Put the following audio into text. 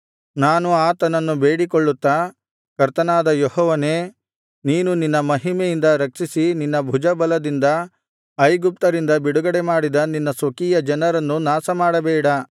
ನಾನು ಆತನನ್ನು ಬೇಡಿಕೊಳ್ಳುತ್ತಾ ಕರ್ತನಾದ ಯೆಹೋವನೇ ನೀನು ನಿನ್ನ ಮಹಿಮೆಯಿಂದ ರಕ್ಷಿಸಿ ನಿನ್ನ ಭುಜಬಲದಿಂದ ಐಗುಪ್ತ್ಯರಿಂದ ಬಿಡುಗಡೆಮಾಡಿದ ನಿನ್ನ ಸ್ವಕೀಯ ಜನರನ್ನು ನಾಶಮಾಡಬೇಡ